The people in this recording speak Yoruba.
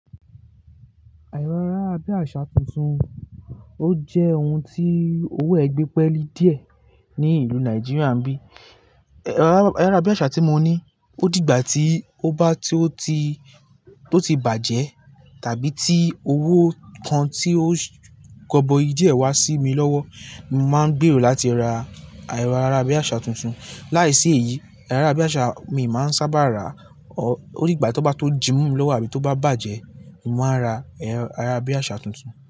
Ero ayara bí àsá tuntun ó jẹ́ ohun tí owó ẹ gbẹ́ pẹ́ lí diẹ ní ìlú Nàìjíríà ń bí. Ayará bí àsá tí mo ní ó dìgbà tí ó bá tí ó ti, tó ti bàjẹ́ tàbí tí owó kan tí ó gọ́bọ́i di ẹ wá sí mi lọ́wọ́, mo máa ń gbèrò láti ra ero ayara bí àsá tuntun. Láìsí èyí, ero ayara bí àsá mi máa ń sáábà rà ó dìgbà tan bá tó jímomi lọ́wọ́ àbí tó bá bàjẹ́, mo máa ra ero ayara bí àsá tuntun.